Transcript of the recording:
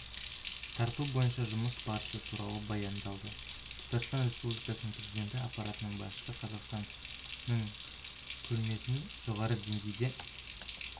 тарту бойынша жұмыс барысы туралы баяндады татарстан республикасының президенті аппаратының басшысы қазақстанның көрмесін жоғары деңгейде